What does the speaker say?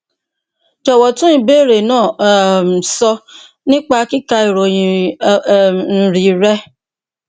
jọwọ tún ìbéèrè náà um sọ nípa kíka ìròyìn um mri rẹ